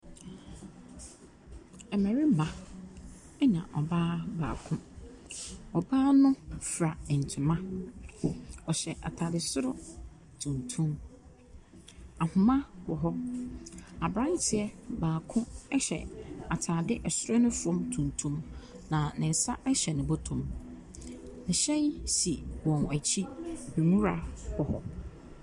Mmarima na ɔbaa baako, ɔhyɛ ataare soro tuntum, ahoma wɔ hɔ, aberanteɛ baako hyɛ ataare soro ne famu tuntum, na ne nsa hyɛ ne bɔtɔ mu. Hyɛn si wɔn akyi, nwura wɔ .